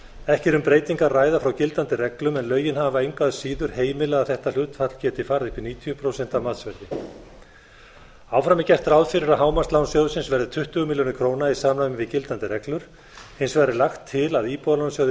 ekki er um breytingu að ræða frá gildandi reglum en lögin hafa engu síður heimilað að þetta hlutfall geti farið upp í níutíu prósent af matsverði áfram er gert ráð fyrir að hámarkslán sjóðsins verði tuttugu milljónir króna í samræmi við gildandi reglur hins vegar er lagt til að íbúðalánasjóði